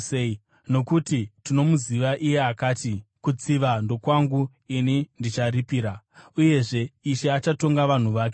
Nokuti tinomuziva iye akati, “Kutsiva ndokwangu; ini ndicharipira,” uyezve, “Ishe achatonga vanhu vake.”